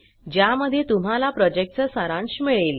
ज्यामध्ये तुम्हाला प्रॉजेक्टचा सारांश मिळेल